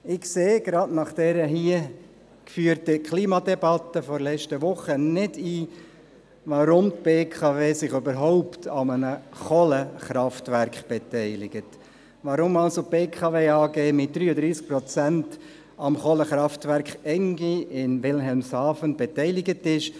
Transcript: Erstens sehe ich – gerade nach der hier drin geführten Klimadebatte – nicht ein, weshalb die BKW sich überhaupt an einem Kohlekraftwerk beteiligt, warum also die BKW AG mit 33 Prozent am Kohlekraftwerk ENGIE in Wilhelmshaven beteiligt ist.